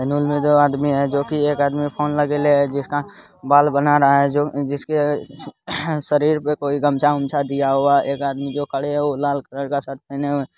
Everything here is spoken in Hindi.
सलून में दो आदमी है जो की एक आदमी फोन लगइले है जिसका बाल बना रहा है| जो जिसके शरीर पर कोई गमछा अच्छा दिया हुआ है एक आदमी जो खड़े हैं वह लाल कलर का शर्ट पहने हुए --